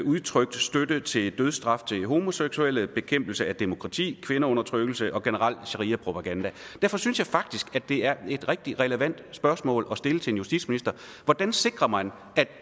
udtrykt støtte til dødsstraf til homoseksuelle bekæmpelse af demokrati kvindeundertrykkelse og generel shariapropaganda derfor synes jeg faktisk det er et rigtig relevant spørgsmål at stille til en justitsminister hvordan sikrer man